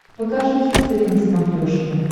покажи хистори на смотрешке